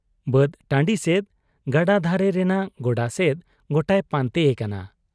ᱵᱟᱹᱫ ᱴᱟᱺᱰᱤ ᱥᱮᱫ, ᱜᱟᱰᱟ ᱫᱷᱟᱨᱮ ᱨᱮᱱᱟᱜ ᱜᱚᱰᱟ ᱥᱮᱫ ᱜᱚᱴᱟᱭ ᱯᱟᱱᱛᱮ ᱮᱠᱟᱱᱟ ᱾